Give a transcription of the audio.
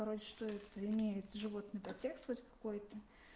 что это имеет животный под текст вот какой-то